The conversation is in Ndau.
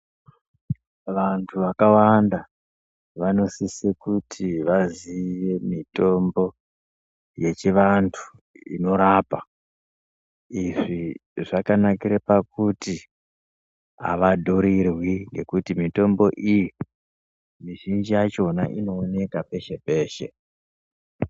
Vantu vakawanda vanosisa kuti vaziye mitombo yechivantu inorapa izvi zvakanakira pakuti havadhirirwi ngekuti mitombo iyi mizhinji yakona inooneka peshe peshe.